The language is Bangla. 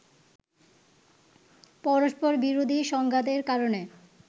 পরস্পরবিরোধী সংঘাতের কারণে